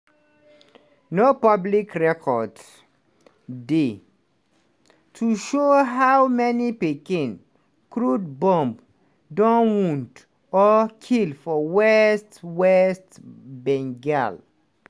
no public record dey to show how many pikin crude bomb don wound or kill for west west bengal.